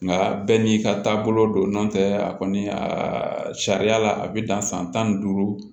Nka bɛɛ n'i ka taabolo don n'o tɛ a kɔni a sariya la a bɛ dan san tan ni duuru